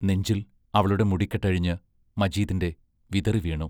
നെഞ്ചിൽ അവളുടെ മുടിക്കെട്ടഴിഞ്ഞ് മജീദിന്റെ വിതറിവീണു...